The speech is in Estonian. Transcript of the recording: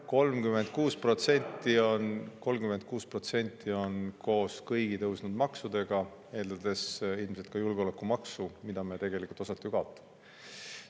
36% on koos kõigi tõusnud maksudega, eeldades ilmselt ka julgeolekumaksu, mida me tegelikult osati ju kaotame.